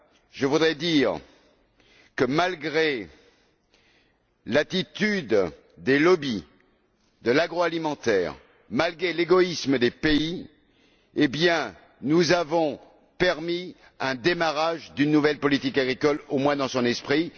Je voudrais encore dire que, malgré l'attitude des lobbys de l'agroalimentaire, malgré l'égoïsme des pays, nous avons permis le démarrage d'une nouvelle politique agricole, au moins dans son esprit.